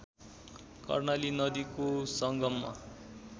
कर्णाली नदीको संगममा